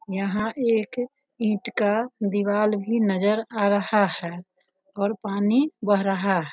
यहाँ एक ईंट का दीवाल भी नजर आ रहा है और पानी बह रहा है।